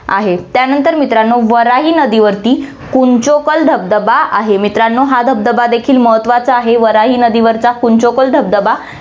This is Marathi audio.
आहे. त्यानंतर मित्रांनो, वराही नदीवरती कुंचिकल धबधबा आहे. मित्रांनो, हा धबधबा देखील महत्वाचा आहे. वराही नदीवरचा कुंचिकल धबधबा हा